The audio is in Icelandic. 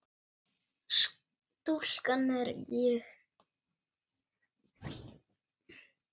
Stúlkan er ég.